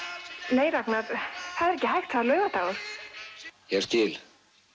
nei Ragnar það er ekki hægt það er laugardagur ég skil